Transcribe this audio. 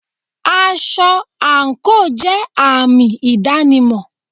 Aṣọ àńkò jẹ àmì ìdánimọ̀.